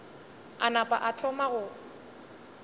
a napa a thoma go